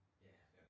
Ja